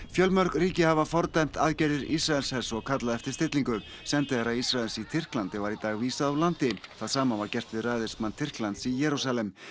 fjölmörg ríki hafa fordæmt aðgerðir Ísraelshers og kallað eftir stillingu sendiherra Ísraels í Tyrklandi var í dag vísað úr landi það sama var gert við ræðismann Tyrklands í Jerúsalem